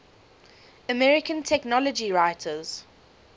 american technology writers